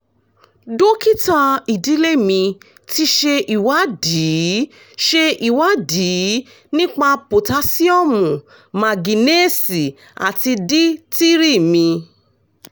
dókítà ìdílé mi ti ṣe ìwádìí ṣe ìwádìí nípa potasiọ́mù mágíńésììì àti d three mi